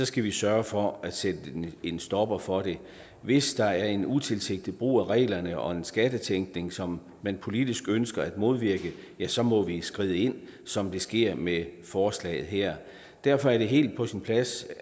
skal vi sørge for at sætte en stopper for det hvis der er en utilsigtet brug af reglerne og en skattetænkning som man politisk ønsker at modvirke ja så må vi skride ind som det sker med forslaget her derfor er det helt på sin plads